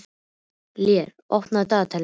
Lér, opnaðu dagatalið mitt.